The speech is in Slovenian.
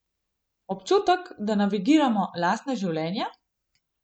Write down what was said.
Občutek, da navigiramo lastna življenja?